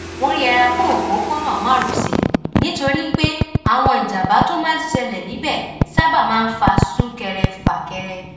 wón yẹra fún òpópónà márosẹ nítorí pé àwọn ìjàmbá tó máa ń ṣẹlè níbè sábà máa ń fa súnkẹrẹfàkẹrẹ